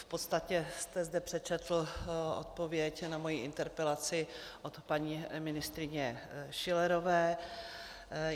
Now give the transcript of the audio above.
V podstatě jste zde přečetl odpověď na moji interpelaci od paní ministryně Schillerové.